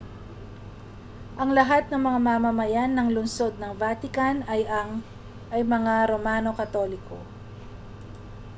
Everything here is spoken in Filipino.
ang lahat ng mga mamamayan ng lungsod ng vatican ay mga romano katoliko